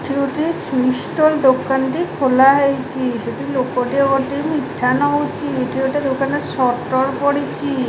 ଏଠି ଗୋଟିଏ sweet stall ଦୋକାନଟେ ଖୋଲା ହେଇଚି ସେଠି ଲୋକଟିଏ ଗଦିରୁ ମିଠା ନଉଚି ଇଠି ଗୋଟେ ଦୋକାନ ରେ ସଟର ପଡିଚି।